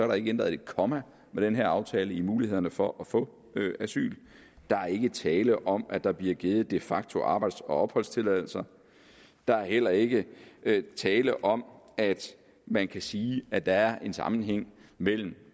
der ikke ændret et komma med den her aftale hvad angår mulighederne for at få asyl der er ikke tale om at der bliver givet de facto arbejds og opholdstilladelser der er heller ikke tale om at man kan sige at der er en sammenhæng mellem